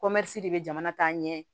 de bɛ jamana ta ɲɛ